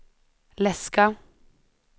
läska